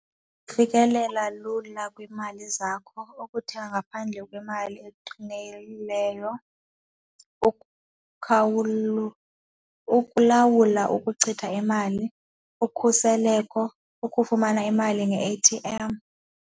Ufikelela lula kwiimali zakho, ukuthenga ngaphandle kwemali eqinileyo, ukulawula ukuchitha imali, ukhuseleko, ukufumana imali nge-A_T_M.